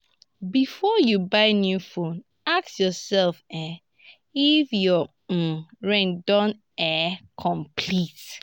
before you buy new phone ask yourself um if your um rent don um complete.